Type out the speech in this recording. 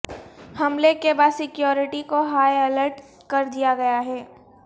حملے کے بعد سکیورٹی کو ہائی الرٹ کر دیا گیا ہے